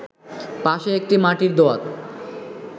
পাশে একটি মাটির দোয়াত